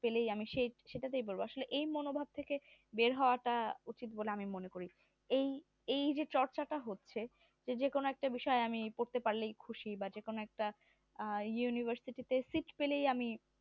পেলেই আমি সেই সেইটাতেই পড়বো আসলে এই মনোভাব থেকে বের হওয়া টা উচিত বলে আমি মনে করি এই এইযে চর্চাটা হচ্ছে এই যেকোনো বিষয় আমি করতে পারলেই খুশি বা যেকোনো একটা আহ university তে seat পেলেই আমি